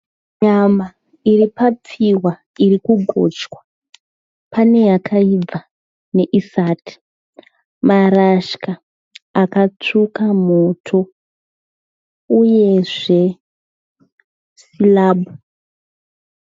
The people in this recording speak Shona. Nyama iri papfihwa iri kugochwa. Pane yakaibva neisati. Maratya akatsvuka moto uyezve sirabhu.